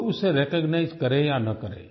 कोई उसे रिकॉग्नाइज करे या ना करे